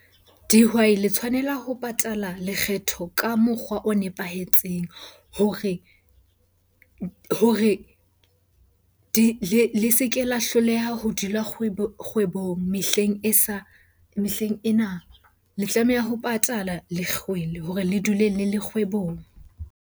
Dihwai le tshwanela ho patala lekgetho ka mokgwa o nepahetseng hore di, le se ke la hloleha ho dula kgwebong mehleng e sa, mehleng ena. Le tlameha ho patala lekgwele hore le dule le le kgwebong.